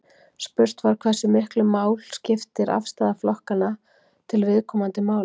Spurt var Hversu miklu mál skiptir afstaða flokkanna til viðkomandi mála?